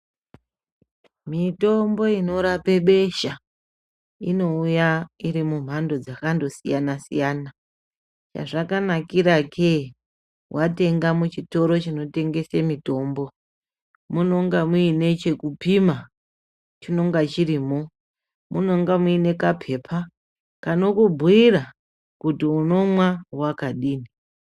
Mitombo inorape besha inouya irimumhando dzakandosiyana siyana chazvakanakira ke watenga muchitoro chinotengese mitombo munonga muine chekupima chinonga chirimo munonga muine kapepa kanokubhuira kuti unomwa wakadini .